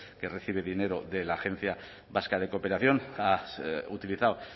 que recibe dinero de la agencia vasca de cooperación ha utilizado